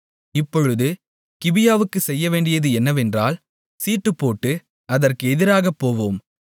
இப்பொழுது கிபியாவுக்குச் செய்யவேண்டியது என்னவென்றால் சீட்டுப்போட்டு அதற்கு எதிராகப் போவோம்